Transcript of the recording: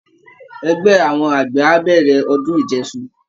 Ẹgbẹ́ àwọn àgbẹ̀ á bẹ̀rẹ̀ ọdún ìjẹṣu